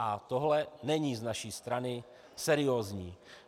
A tohle není z naší strany seriózní.